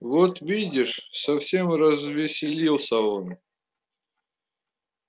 вот видишь совсем развеселился он